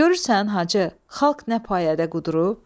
Görürsən Hacı, xalq nə payədə qudurub?